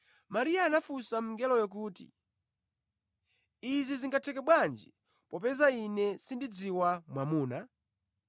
Mariya anafunsa mngeloyo kuti, “Izi zingatheke bwanji popeza ine sindidziwa mwamuna?”